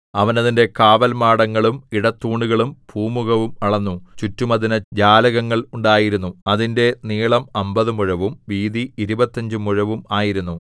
അവൻ അതിന്റെ കാവൽമാടങ്ങളും ഇടത്തൂണുകളും പൂമുഖവും അളന്നു ചുറ്റും അതിന് ജാലകങ്ങൾ ഉണ്ടായിരുന്നു അതിന്റെ നീളം അമ്പത് മുഴവും വീതി ഇരുപത്തഞ്ച് മുഴവും ആയിരുന്നു